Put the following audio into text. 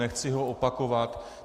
Nechci ho opakovat.